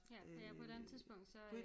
Ja ja på et eller andet tidspunkt så